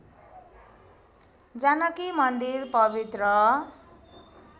जानकी मन्दिर पवित्र